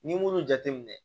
N'i m'olu jateminɛ